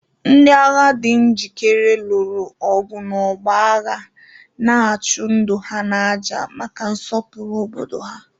Ndị agha di njikere lụrụ ọgụ n'ọgbọ agha, na-achụ ndụ ha n'àjà maka nsọpụrụ obodo ha.